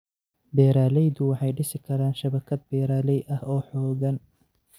Beeraleydu waxay dhisi karaan shabakad beeraley ah oo xooggan.